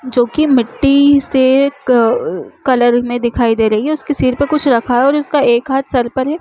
जो की मिट्टी से एक कलर में दिखाई दे रही है उसके सिर पर कुछ रखा है और उसका एक हाथ सर पर है।